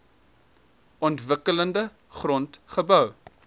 onontwikkelde grond gebou